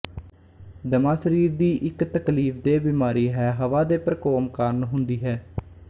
ਦਮਾ ਸਰੀਰ ਦੀ ਇੱਕ ਤਕਲੀਫਦੇਹ ਬਿਮਾਰੀ ਹੈ ਹਵਾ ਦੇ ਪ੍ਰਕੋਮ ਕਾਰਨ ਹੁੰਦੀ ਹੈ